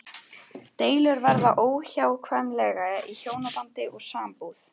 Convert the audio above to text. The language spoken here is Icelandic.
Deilur verða óhjákvæmilega í hjónabandi og sambúð.